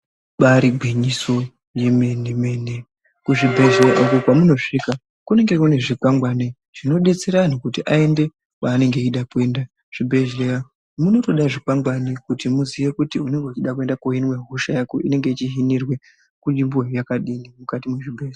Ibaari gwinyiso yemene- mene kuzvibhedhlera uku kweunosvika kunenge kune zvikwangwani zvinodetsera anhu kuti aende kwaanenge aide kuenda. Muzvibhedhlera munotode zvikwangwani kuti muziye kuti unenge uchida kuhinwe hosha yako inenge ichihinirwa kunzvimbo yakadini mukati mwezvibhedhlera.